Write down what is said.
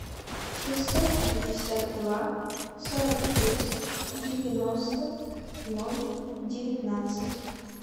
шестьсот шестьдесят два сорок шесть девяносто ноль девятнадцать